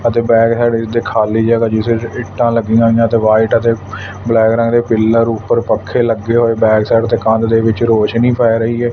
ਅਤੇ back side ਜਿਥੇ ਖਾਲੀ ਜਗਹ ਹੈ ਜਿਸ ਵਿਚ ਇੱਟਾਂ ਲੱਗੀਆਂ ਹੋਈਆਂ ਤੇ ਵਾਈਟ ਤੇ ਬਲੈਕ ਰੰਗ ਦੇ ਪਿੱਲਰ ਉੱਪਰ ਪੱਖੇ ਲੱਗੇ ਹੋਏ ਬੈਕ ਸਾਈਡ ਤੇ ਕੰਧ ਦੇ ਵਿੱਚ ਰੋਸ਼ਨੀ ਪੈ ਰਹੀ ਹ।